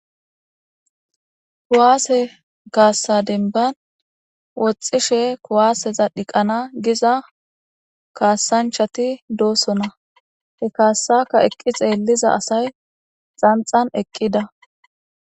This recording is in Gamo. Kuwaase gaassa denban woxxishe kuwaaseza dhiqana giza kaasanchati doosona he kaassaka eqqi xeeliza asay xanxan eqqida.